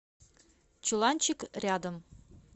чуланчик рядом